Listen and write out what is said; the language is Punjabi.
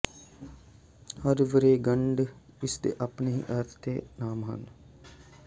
ਹਰ ਵਰ੍ਹੇਗੰਢ ਇਸ ਦੇ ਆਪਣੇ ਹੀ ਅਰਥ ਅਤੇ ਨਾਮ ਹੈ